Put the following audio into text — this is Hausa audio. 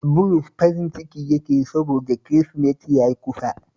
Bulus farin ciki yake yi sabods Kirisimeti ya kusa